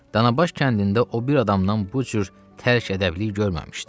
Danabaş kəndində o bir adamdan bu cür tərki-ədəblik görməmişdi.